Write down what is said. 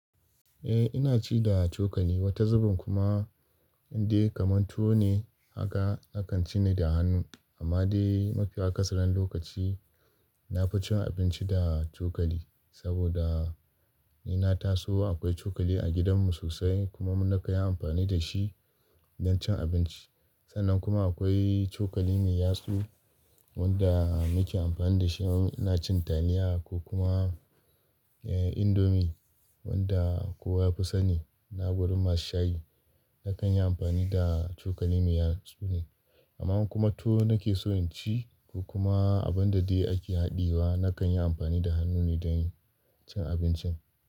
Eh ina ci da cokali, wata zubin kuma indai kamar tuwo ne haka nakan ci ne da hannu. Amma dai mafi akasaran lokaci nafi cin abinci da cokali. Saboda ni na taso akwai cokali a gidanmu sosai kuma na kai amfani da shi don cin abinci. Sannan kuma akwai cokali mai yatsu wanda muke amfani da shi in ina cin Taliya ko kuma eh Indomi wanda kowa ya fi sani. Na gurin masu shayi nakan yi amfani da cokali mai yatsu ne. Amma kuma tuwo nake so in ci ko kuma abin da dai ake haɗawa nakan yi amfani da hannu ne don cin abincin.